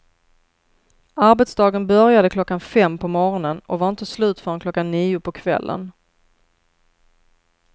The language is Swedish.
Arbetsdagen började klockan fem på morgonen och var inte slut förrän klockan nio på kvällen.